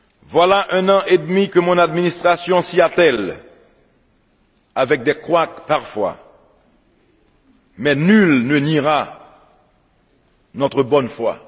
Voilà un an et demi que mon administration s'y attèle, avec des couacs parfois, mais nul ne niera notre bonne foi.